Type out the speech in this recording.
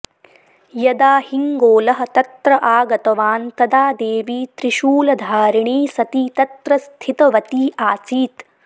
यदा हिङ्गोलः तत्र आगतवान् तदा देवी त्रिशूलधारिणी सती तत्र स्थितवती आसीत्